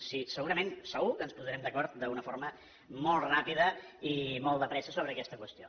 miri segurament segur que ens posarem d’acord d’una forma molt ràpida i molt de pressa sobre aquesta qüestió